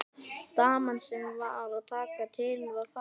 Daman sem var að taka til var farin.